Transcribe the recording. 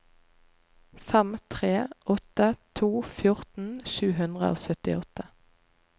fem tre åtte to fjorten sju hundre og syttiåtte